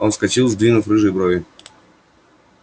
он вскочил сдвинув рыжие брови